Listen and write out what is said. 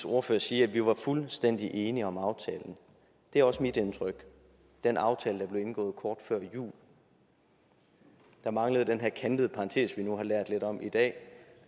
ordfører sige at vi var fuldstændig enige om aftalen det er også mit indtryk den aftale der blev indgået kort før jul der manglede den her kantede parentes vi nu har lært lidt om i dag